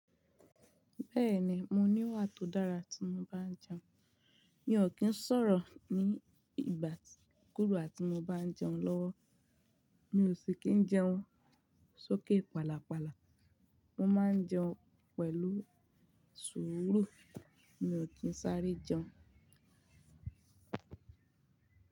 Bẹ́ẹ̀ni, mo ní wà tó dára tí mo bá n jẹun. Mi ò kí ń sọ̀rọ̀ ní ìgbà kúgba tí mo bá ń jẹun lọ́wọ́. Mi ò sì kí ń jẹun sókè pálapàla. Mo máa ń jẹun pẹ̀lú sùúrù. Mi ò kí ń sáré jẹun.